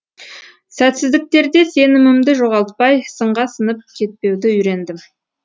сәтсіздіктерде сенімімді жоғалтпай сынға сынып кетпеуді үйрендім